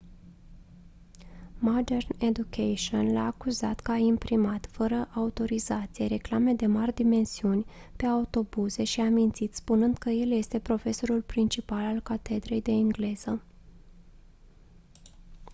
modern education l-a acuzat că a imprimat fără autorizație reclame de mari dimensiuni pe autobuze și a mințit spunând că el este profesorul principal al catedrei de engleză